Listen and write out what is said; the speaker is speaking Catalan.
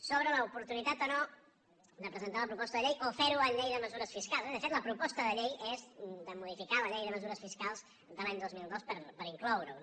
sobre l’oportunitat o no de presentar la proposta de llei o fer·ho amb llei de mesures fiscals de fet la proposta de llei és de modificar la llei de mesures fiscals de l’any dos mil dos per incloure·ho